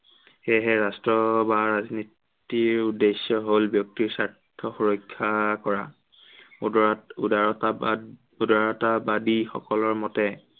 সেয়েহে ৰাষ্ট্ৰ বা ৰাজনীতিৰ উদ্দেশ্য় হল ব্য়ক্তিৰ স্বাৰ্থ সুৰক্ষা কৰা। উদৰ~উদাৰতাবাদ~উদাৰতাবাদী সকলৰ মতে